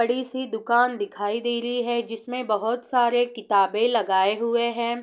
बड़ी सी दुकान दिखाई दे रही है जिसमें बहोत सारे किताबें लगाए हुए है।